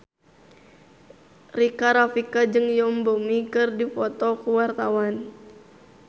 Rika Rafika jeung Yoon Bomi keur dipoto ku wartawan